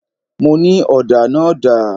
Mo ní: Ọ̀dà náà dà?